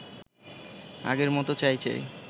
আগের মতো চাই চাই